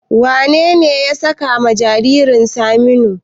Wanene ya sakawa jaririn Saminu?